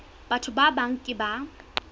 batho ba bang ke ba